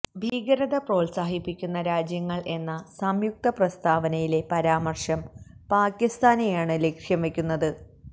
ഭീകരത പ്രോത്സാഹിപ്പിക്കുന്ന രാജ്യങ്ങള് എന്ന സംയുക്ത പ്രസ്താവനയിലെ പരാമര്ശം പാക്കിസ്ഥാനെയാണ് ലക്ഷ്യം വെക്കുന്നത്